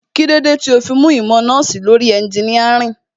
Kílódé tó fi mú ìmọ̀ nọ́ọ̀sì lórí ẹnginíàrìn?